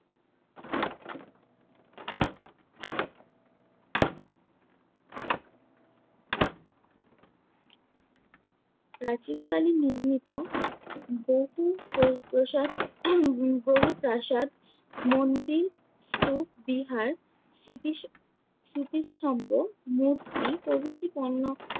প্রাচীন কালে নির্মিত বহু ও-প্রসাদ বহু প্রাসাদ, মন্দির, স্তূপ স্মৃতিস~ স্মৃতিস্তম্ভ, মূর্তি প্রভৃতি পণ্য